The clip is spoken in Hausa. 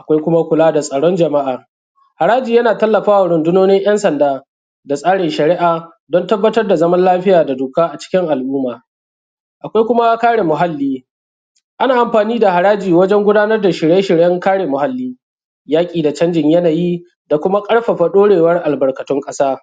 Akwai kuma kula da tsaron jama'a, haraji yana tallafa wa rundunonin 'yan sanda da tsarin shari'a don tabbatar da zaman lafiya da doka a cikin al-umma. Akwai kuma kare muhalli, ana amfani da haraji wajen gudanar da shirye-shiryen kare muhalli. Yaƙi da canjin yanayi da kuma ƙarfafa ɗaurewan albarkatun ƙasa